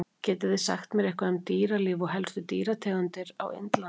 Getið þið sagt mér eitthvað um dýralíf og helstu dýrategundir á Indlandi?